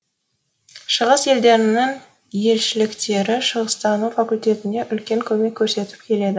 шығыс елдерінің елшіліктері шығыстану факультетіне үлкен көмегін көрсетіп келеді